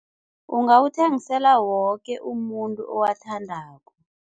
Ungawuthengisela woke umuntu owathandako.